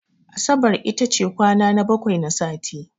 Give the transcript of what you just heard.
Asabar iata ce kwana na bakwai na sati.